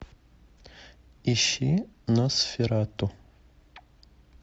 ищи носферату